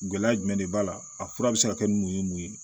Gɛlɛya jumɛn de b'a la a fura be se ka kɛ mun ye mun ye